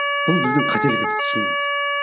бұл біздің қателігіміз шынымен де